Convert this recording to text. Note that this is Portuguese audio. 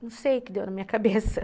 Não sei o que deu na minha cabeça.